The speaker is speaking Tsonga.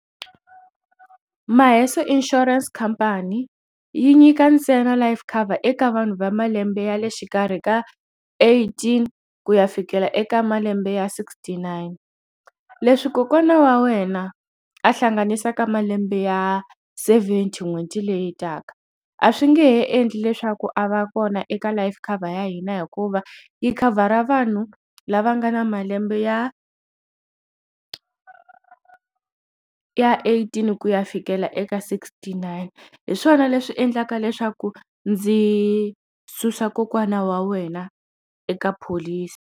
Maheso insurance company yi nyika ntsena life cover eka vanhu va malembe ya le xikarhi ka eighteen ku ya fikela eka malembe ya sixty nine leswi kokwana wa wena a hlanganisaka malembe ya seventy n'hweti leyi taka a swi nge he endli leswaku a va kona eka life cover ya hina hikuva yi khavhara vanhu lava nga na malembe ya ya eighteen ku ya fikela eka sixty nine hi swona leswi endlaka leswaku ndzi susa kokwana wa wena eka pholisi.